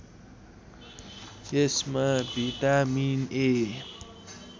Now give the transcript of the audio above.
यसमा भिटामिन ए